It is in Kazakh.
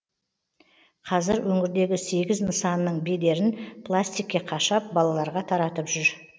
қазір өңірдегі сегіз нысанның бедерін пластикке қашап балаларға таратып жүр